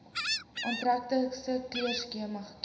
aantreklike kleurskema kies